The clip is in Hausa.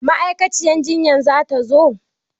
Ma'aikaciyar jinyan zata zo?